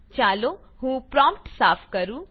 ચાલો હું પ્રોમ્પ્ટ સાફ કરું